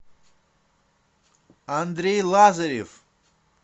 андрей лазарев